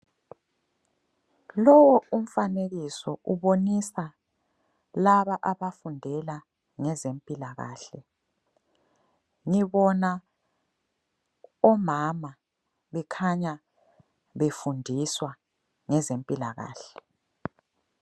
Lowu umfanekiso ubonisa laba abafundela ngezempilakahle. Ngibona omama bekhanya befundiswa ngezempilakahle.